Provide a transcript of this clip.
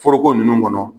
Foroko ninnu kɔnɔ